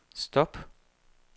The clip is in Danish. stop